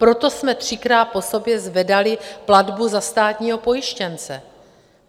Proto jsme třikrát po sobě zvedali platbu za státního pojištěnce.